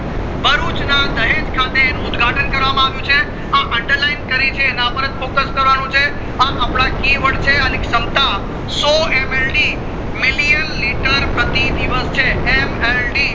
ભરૂચ ના દહેજ ખાતે અનુ ઉદ્ઘાટન કરવામાં આવ્યું છે આ underline કરી છે એના ઉપર જ focus કરવાનું છે આ અપડા key word છે અણી શમતા સો million liter પ્રતિ દિવસ છે mld